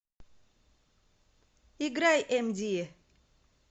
играй эмди